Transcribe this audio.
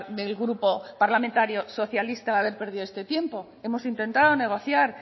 del grupo parlamentario socialista el haber perdido todo este tiempo hemos intentado negociar